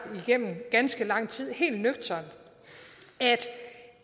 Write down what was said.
igennem ganske lang tid helt nøgternt at